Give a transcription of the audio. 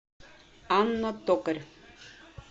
анна токарь